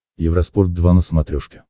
евроспорт два на смотрешке